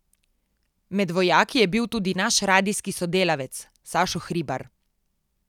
Med vojaki je bil tudi naš radijski sodelavec Sašo Hribar.